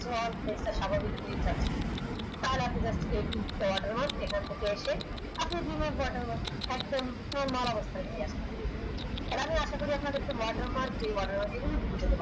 স্বাভাবিক range এ আছে কাল এই তিনতে watermark এখান থেকে এসে watermark একদম তা হলে আমি আশা করি আমি আপনাদেরকে watermark এই watermark বুঝাতে পেরেছি